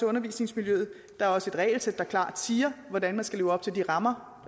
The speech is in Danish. undervisningsmiljøet der er også et regelsæt der klart siger hvordan man skal leve op til de rammer